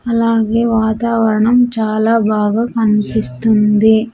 అలాగే వాతావరణం చాలా బాగా కనిపిస్తుంది.